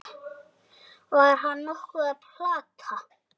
Var hann nokkuð að plata?